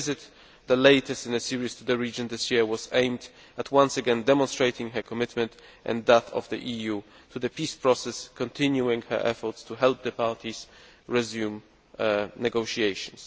Her visit, the latest in a series to the region this year, was aimed at once again demonstrating her commitment, and that of the EU, to the peace process and continuing her efforts to help the parties resume negotiations.